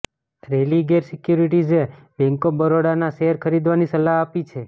રેલિગેર સિક્યુરિટીઝે bank of બરોડાના શેર ખરીદવાની સલાહ આપી છે